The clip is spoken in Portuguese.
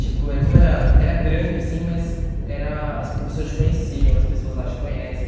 Tipo, eh como era era grande, assim, mas era as professoras te conheciam, as pessoas lá te conhecem.